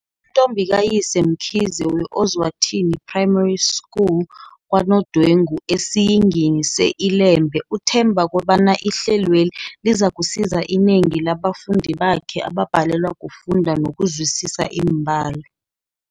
uNtombikayise Mkhize we-Ozwa thini Primary School kwaNodwengu esiYingini se-Ilembe uthemba kobana ihlelweli lizakusiza inengi la bafundi bakhe ababhalelwa kufunda nokuzwisisa iimbalo.